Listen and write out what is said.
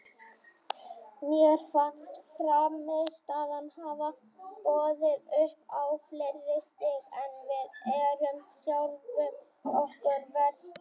Mér fannst frammistaðan hafa boðið upp á fleiri stig en við erum sjálfum okkur verstir.